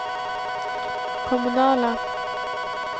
kommunala